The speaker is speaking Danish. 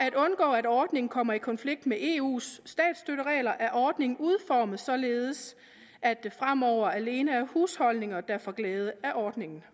at undgå at ordningen kommer i konflikt med eus statsstøtteregler er ordningen udformet således at det fremover alene er husholdninger der får glæde af ordningen